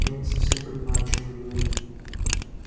я не совсем понимаю о чём вы говорите